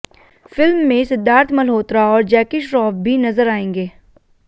film में सिद्धार्थ मल्होत्रा और Jackie Shroff भी नजर आएंगे